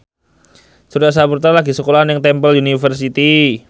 Surya Saputra lagi sekolah nang Temple University